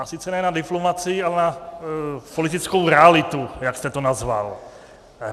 A sice ne na diplomacii, ale na politickou realitu, jak jste to nazval.